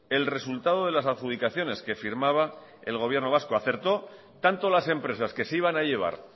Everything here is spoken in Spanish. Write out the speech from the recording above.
el resultado de las adjudicaciones que firmaba el gobierno vasco acertó tanto las empresas que se iban a llevar